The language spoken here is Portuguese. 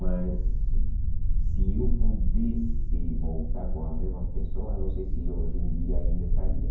Mas se eu pudesse voltar com a mesma pessoa, não sei se hoje em dia ainda estaria.